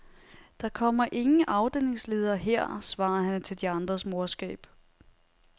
Der kommer ingen afdelingsledere her, svarer han til de andres morskab.